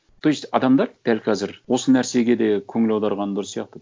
то есть адамдар дәл қазір осы нәрсеге де көңіл аудырғаны дұрыс сияқты